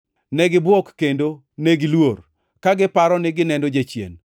Negibwok kendo negiluor, ka giparo ni gineno jachien.